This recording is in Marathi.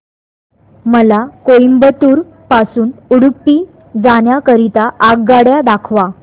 मला कोइंबतूर पासून उडुपी जाण्या करीता आगगाड्या दाखवा